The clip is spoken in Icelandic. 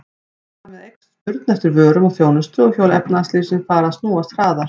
Þar með eykst spurn eftir vörum og þjónustu og hjól efnahagslífsins fara að snúast hraðar.